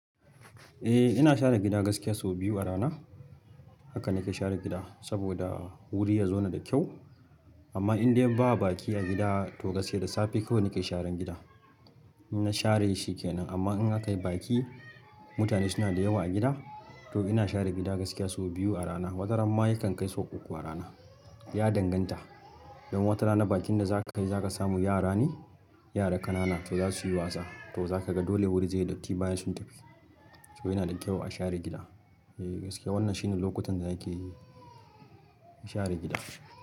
Eh ina share gida gaskiya sau biyu a rana. Haka nake share gida saboda wuri ya zauna da kyau amma inde ba baki a gida to gaskiya da safe kawai nake sharan gida. Na share shi kenan amma in aka yi baki mutane suna da yawa a gida to ina share gida gaskiya sau biyu a rana. Wataramma yakan kai sau uku a rana. Ya danganta, idan wata rana bakin da zaka yi zaka samu yara ne, yara ƙanana to za su yi wasa to zaka ga dole wuri zai yi datti bayan sun tafi. To yana da kyau a share gida. Eh gaskiya wannan shine lokutan da yake share gida.